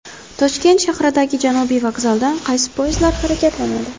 Toshkent shahridagi Janubiy vokzaldan qaysi poyezdlar harakatlanadi?